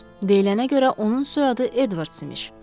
Deyilənə görə onun soyadı Edwars imiş.